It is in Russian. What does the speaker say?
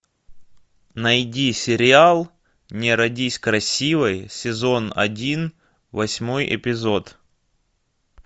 найди сериал не родись красивой сезон один восьмой эпизод